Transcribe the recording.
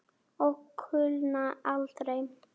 Og kulna aldrei.